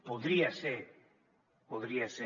podria ser podria ser